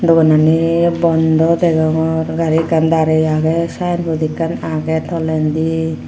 doganani bondo degongor gari ekkan darey agey sayenbod ekkan agey tolendi.